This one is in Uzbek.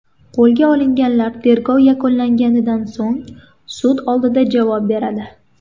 Qo‘lga olinganlar tergov yakunlangandan so‘ng sud oldida javob beradi.